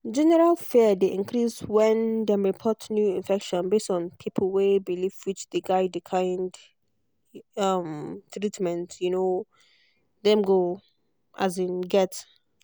general fear dey increase when dem report new infection base on pipo way believewhich dey guide the kind um treatment um dem go um get.